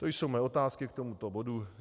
To jsou mé otázky k tomuto bodu.